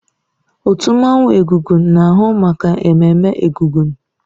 Otu mmanwụ egúngún na-ahụ maka ememme egúngún.